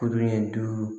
Kurun ɲɛ duuru